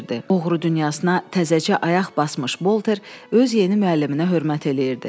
Oğru dünyasına təzəcə ayaq basmış Bolter öz yeni müəlliminə hörmət eləyirdi.